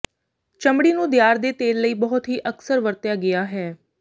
ਚਮੜੀ ਨੂੰ ਦਿਆਰ ਦੇ ਤੇਲ ਲਈ ਬਹੁਤ ਹੀ ਅਕਸਰ ਵਰਤਿਆ ਗਿਆ ਹੈ